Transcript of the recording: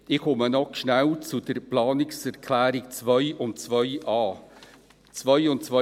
Ich komme noch kurz zu den Planungserklärungen 2 und 2.a: Bei 2 und 2.a.